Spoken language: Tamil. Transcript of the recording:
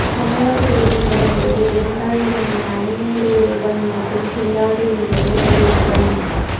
தமிழக தேர்தல் வரும்போது இரண்டாயிரம் என்ன ஐநூறு ரூபாய் நோட்டும் செல்லாது என்று அறிவிக்கணும்